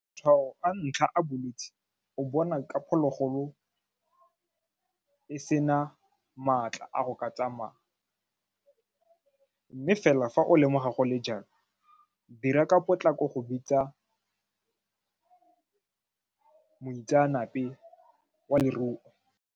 Matshwao a ntlha a bolwetse o bona ka phologolo e sena maatla a go ka tsamaya mme fela fa o lemoga go le jalo dira ka potlako go bitsa moitseanape wa leruo.